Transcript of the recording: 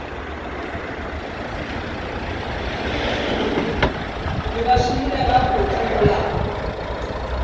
re ba šomile gabotse mola